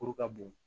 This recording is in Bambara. Kuru ka bon